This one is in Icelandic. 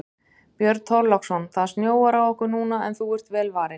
Björn Þorláksson: Það snjóar á okkur núna en þú ert vel varin?